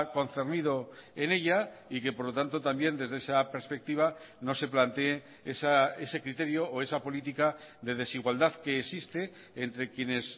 concernido en ella y que por lo tanto también desde esa perspectiva no se plantee ese criterio o esa política de desigualdad que existe entre quienes